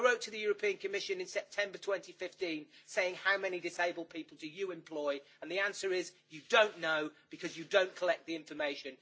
I wrote to the European Commission in September 2015 asking how many disabled people it employs and the answer is you don't know, because you don't collect the information.